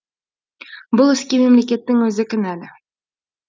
бұл іске мемлекеттің өзі кінәлі